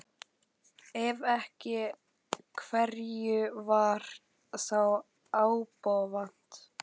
Ef ekki, hverju var þá ábótavant?